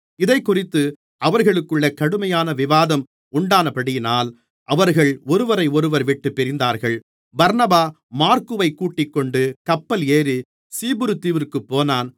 இதைக்குறித்து அவர்களுக்குள்ளே கடுமையான விவாதம் உண்டானபடியினால் அவர்கள் ஒருவரையொருவர் விட்டுப் பிரிந்தார்கள் பர்னபா மாற்குவைக் கூட்டிக்கொண்டு கப்பல் ஏறிச் சீப்புருதீவிற்குப் போனான்